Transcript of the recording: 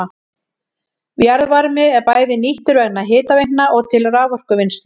Jarðvarmi er bæði nýttur vegna hitaveitna og til raforkuvinnslu.